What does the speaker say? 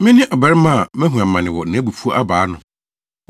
Mene ɔbarima a mahu amane wɔ nʼabufuw abaa ano.